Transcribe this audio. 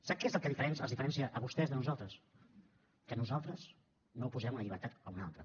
sap què és els diferencia a vostès de nosaltres que nosaltres no oposem una llibertat a una altra